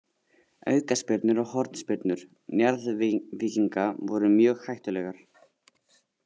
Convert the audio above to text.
Aukaspyrnur og hornspyrnur Njarðvíkinga voru mjög hættulegar.